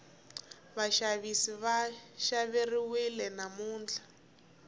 vaxavisi va xaveriwile namuntlha